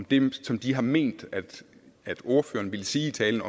det som de har ment at ordføreren ville sige i talen